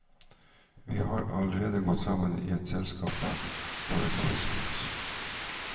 Vi har allerede gått sammen i et selskap for ekspressgods.